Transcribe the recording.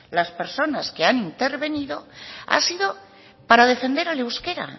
las personas que han intervenido ha sido para defender al euskera